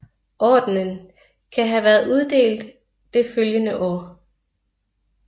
Ordenen kan have været uddelt det følgende år